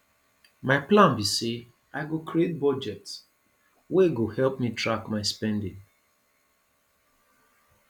my plan be say i go create budget wey go help me track my spending